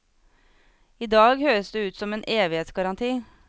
I dag høres det ut som en evighetsgaranti.